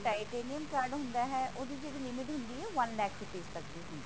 ਜਿਹੜਾ titanium card ਹੁੰਦਾ ਹੈ ਉਹਦੀ ਜਿਹੜੀ limit ਹੁੰਦੀ ਹੈ one lakh ਤੱਕ ਹੁੰਦੀ ਹੈ